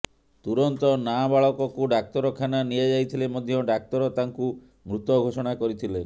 ତୁରନ୍ତ ନାବାଳକକୁ ଡ଼ାକ୍ତରଖାନା ନିଆଯାଇଥିଲେ ମଧ୍ୟ ଡ଼ାକ୍ତର ତାଙ୍କୁ ମୃତ ଘୋଷଣା କରିଥିଲେ